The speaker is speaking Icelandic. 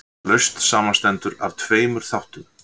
lausn samanstendur af tveimur þáttum